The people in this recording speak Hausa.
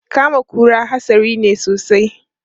Kama kura hatsari ne sosai.